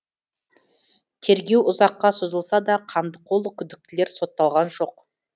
тергеу ұзаққа созылса да қандықол күдіктілер сотталған жоқ